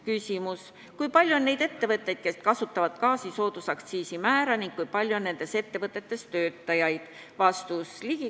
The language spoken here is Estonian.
Küsimus: kui palju on neid ettevõtteid, kes kasutavad gaasi soodustatud aktsiisimääraga ning kui palju on nendes ettevõtetes töötajaid?